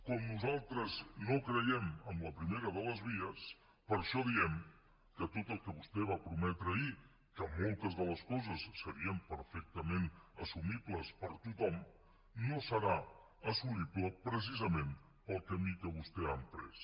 com nosaltres no creiem en la primera de les vies per això diem que tot el que vostè va prometre ahir que moltes de les coses serien perfectament assumibles per tothom no serà assolible precisament pel camí que vostè ha emprès